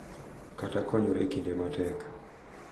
Kata konyore e kinde matek,